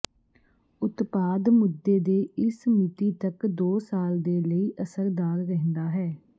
ਉਤਪਾਦ ਮੁੱਦੇ ਦੇ ਇਸ ਮਿਤੀ ਤੱਕ ਦੋ ਸਾਲ ਦੇ ਲਈ ਅਸਰਦਾਰ ਰਹਿੰਦਾ ਹੈ